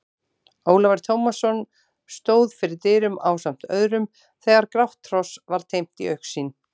Ólafur Tómasson stóð fyrir dyrum ásamt öðrum þegar grátt hross var teymt í augsýn.